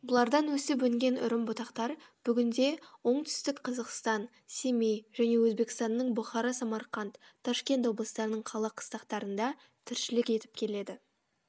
бұлардан өсіп өнген үрім бұтақтар бүгінде онтүстік қазақстан семей және өзбекстанның бұхара самарханд ташкент облыстарының қала қыстақтарында тіршілік етіп келеді